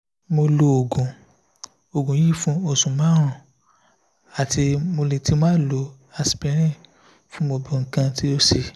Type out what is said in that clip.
mo lo ogun ogun yi fun osu marun ati moletimalo aspirin fun gbogbo ikan ti o se